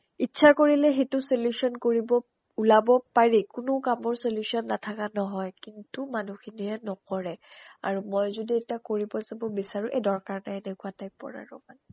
ইচ্ছা কৰিলে সেইটো solution কৰিব ওলাব পাৰি। কোনো কামৰ solution নাথাকে নহয়, কিন্তু মানুহ খিনিয়ে নকৰে। আৰু মই যদি এতিয়া কৰিব যাব বিছাৰো, এ দৰ্কাৰ নাই এনেকুৱা type ৰ আৰু মানে